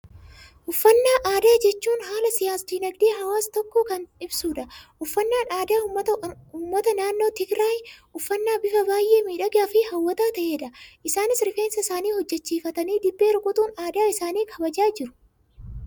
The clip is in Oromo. Uffannaa aadaa jechuun, haala siyaas dinaagdee hawaasa ta'e tokkoo kan ibsudha. Uffannaan aadaa uummata naannoo Tigraayi, uffannaa bifa baayyee miidhagaa fi hawwataa ta'edha. Isaanis rifeensa isaanii hojjechiifatanii, dibbee rukkutuun aadaa isaanii kabajachaa jiru.